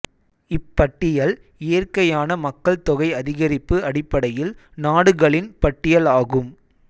இப்பட்டியல் இயற்கையான மக்கள் தொகை அதிகரிப்பு அடிப்படையில் நாடுகளின் பட்டியல் ஆகும்